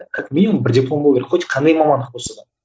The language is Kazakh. как минимум бір диплом болу керек хоть қандай мамандық болса да